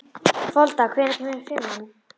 Folda, hvenær kemur fimman?